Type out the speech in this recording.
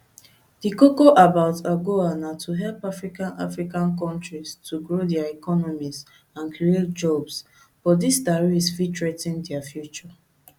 di koko about agoa na to help african african kontris to grow dia economies and create jobs but dis tariffs fit threa ten dia future